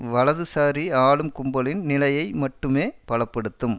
வலதுசாரி ஆளும் கும்பலின் நிலையை மட்டுமே பல படுத்தும்